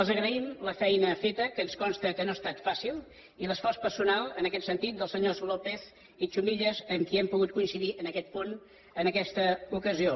els agraïm la feina feta que ens consta que no ha estat fàcil i l’esforç personal en aquest sentit dels senyors lópez i chumillas amb qui hem pogut coincidir en aquest punt en aquesta ocasió